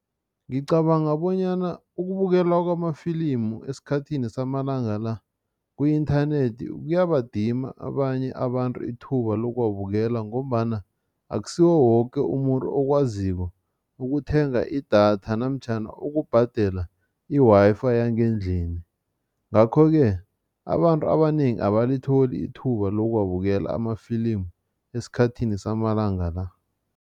Ngicabanga bonyana ukubukelwa kwamafilimu esikhathini samalanga la ku-inthanethi kuyabadima abanye abantu ithuba lokuwabukela ngombana akusiwo woke umuntu okwaziko ukuthenga idatha namtjhana ukubhadela i-Wi-Fi yangendlini. Ngakho-ke abantu abanengi abalitholi ithuba lokuwabukela amafilimu esikhathini samalanga la.